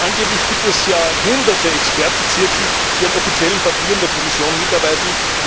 Angeblich gibt es ja Hunderte Expertenzirkel, die an offiziellen Papieren der Kommission mitarbeiten